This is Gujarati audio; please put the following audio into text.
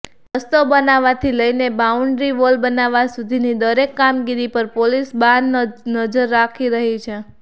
રસ્તો બનાવવાથી લઈને બાઉન્ડ્રી વોલ બનાવવા સુધીની દરેક કામગીરી પર પોલીસ બાજનજર રાખી રહી છે